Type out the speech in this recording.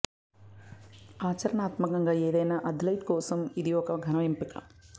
ఆచరణాత్మకంగా ఏదైనా అథ్లెట్ కోసం ఇది ఒక ఘన ఎంపిక